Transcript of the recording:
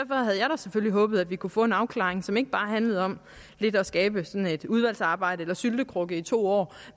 selvfølgelig håbet at vi kunne få en afklaring som ikke bare handlede om at skabe sådan et udvalgsarbejde eller en syltekrukke i to år